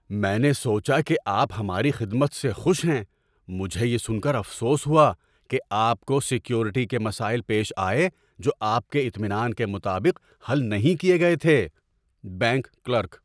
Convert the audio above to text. میں نے سوچا کہ آپ ہماری خدمت سے خوش ہیں۔ مجھے یہ سن کر افسوس ہوا کہ آپ کو سیکیورٹی کے مسائل پیش آئے جو آپ کے اطمینان کے مطابق حل نہیں کیے گئے تھے۔ (بینک کلرک)